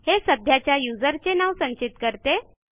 हे सध्याच्या userचे नाव संचित करते